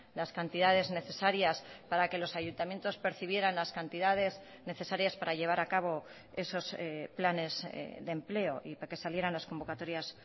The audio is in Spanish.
las cantidades necesarias para que los ayuntamientos percibieran las cantidades necesarias para llevar a cabo esos planes de empleo y para que salieran las convocatorias